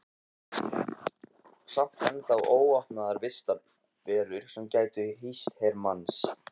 Samt ennþá óopnaðar vistarverur sem gætu hýst her manns.